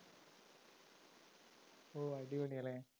ഓ അടിപൊളി അല്ലേ?